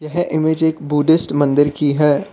यह इमेज एक बुद्धिस्ट मंदिर की है।